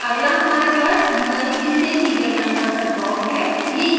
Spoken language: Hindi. अगला हमारे पास usb से serial converter ब्लॉक है